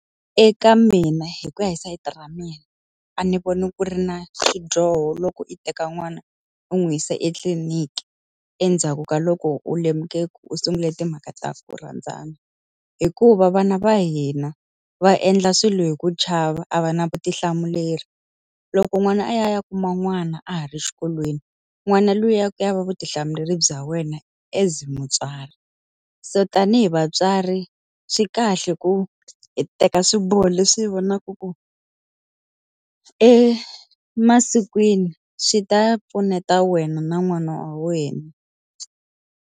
Eka mina hi ku ya hi sayiti ra mina, a ni voni ku ri na xidyoho loko yi teka n'wana u n'wi yisa etliliniki endzhaku ka loko u lemuke ku u sungule timhaka ta ku rhandzana hikuva vana va hina va endla swilo hi ku chava, a va na vutihlamuleri. Loko n'wana a ya a ya kuma n'wana a ha ri xikolweni, n'wana luya ku ya va vutihlamuleri bya wena as mutswari. So tanihi vatswari, swi kahle ku hi teka swiboho leswi hi vonaka ku emasikwini swi ta pfuneta wena na n'wana wa wena.